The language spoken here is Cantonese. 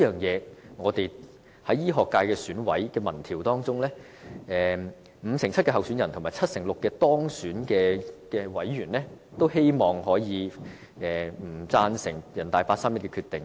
就此，醫學界選委的民調結果顯示，五成七候選人和七成六當選委員均反對人大八三一的決定。